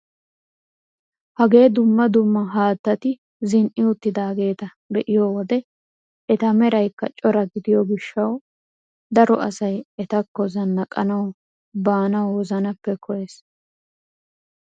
Hagee dumma dumma haattati zin"i uttidaageta be'iyoo wode eta meraykka cora gidiyoo gishshawu daro asay etakko zanaqqanawu be wozanaappe koyyees!